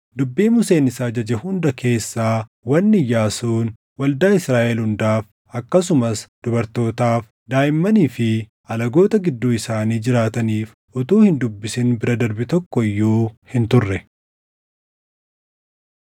Dubbii Museen isa ajaje hunda keessaa wanni Iyyaasuun waldaa Israaʼel hundaaf akkasumas dubartootaaf, daaʼimmanii fi alagoota gidduu isaanii jiraataniif utuu hin dubbisin bira darbe tokko iyyuu hin turre.